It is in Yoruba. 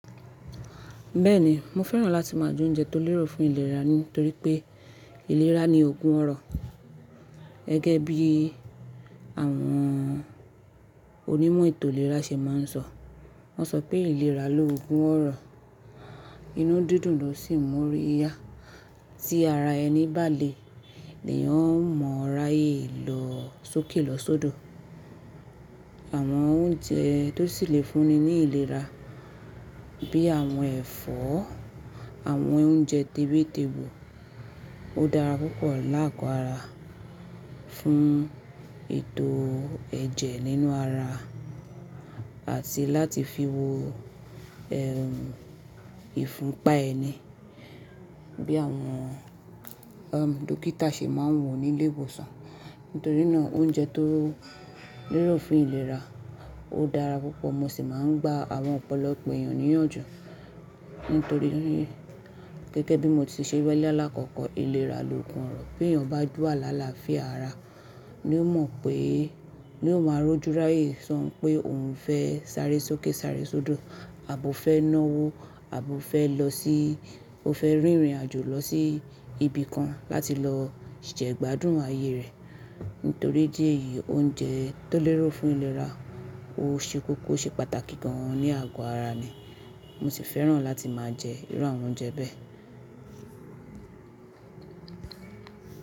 Bẹ́ẹ̀ni, mo fẹ́ràn láti má a jẹ oúnjẹ tó lérò fún ìlera nítorí pé ìlera ni oogún ọrọ̀. Gẹ́gẹ́ bí àwọn onímọ̀ ètò ìlera ṣe má a ń sọ. Wọ́n sọ pé ìlera loogún ọrọ̀. Inú dídùn ló sì ń mú ọ́ rí yá. Tí ara ẹni bà leeyan ọ́ mọ̀ rayé lọ sókè lọ sodo. Àwọn oúnjẹ tó sì le fúnni ní ìlera bí àwọn ẹ̀fọ́, àwọn oúnjẹ tèwé tègbò ó dára púpọ̀ láàgo ara fún ètò ẹ̀jẹ̀ nínú ara àti láti fi wo ẹ́ ìfunpa ẹni bí àwọn dókítà ṣe máa ń wo nílé ìwòsàn. Nítorí náà oúnjẹ tó lérò fún ìlera ó dára púpọ̀. Mo sì máa ń gba àwọn ọpọlọpo èèyàn níyànjú. Nítoríi gẹ́gẹ́ bí mo ti ṣẹ́ wii lákọ̀kọ̀ ìlera loogún ọrọ̀. Bí èèyàn bá wa lá làafía ara, ni ó mọ̀ pé, ni ó má a rójúráyè sọ pé òhun fẹ́ sáré sókè sáré sodo àbofẹ́ náwó àbofẹ́ lọ sí ó fẹ́ rìnrìn àjò lọ sí ibi kan láti lọ jẹ́ gbádùn ayé rẹ̀. Nítorí idí eyìí oúnjẹ tó lérò fún ìlera ó ṣe kókó ṣe pàtàkì gan an ní àgọ ara mi. Mo sì fẹ́ràn láti má a jẹ irú àwọn oúnjẹ bẹ́ẹ̀.